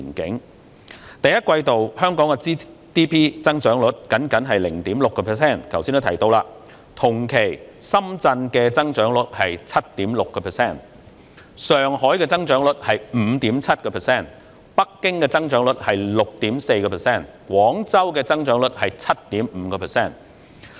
2019年第一季度，香港的 GDP 增長率僅為 0.6%， 同期深圳的增長率為 7.6%， 上海的增長率為 5.7%， 北京的增長率為 6.4%， 廣州的增長率為 7.5%。